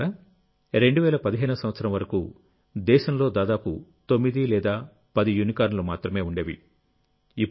మిత్రులారా 2015 సంవత్సరం వరకు దేశంలో దాదాపు తొమ్మిది లేదా పది యూనికార్న్లు మాత్రమే ఉండేవి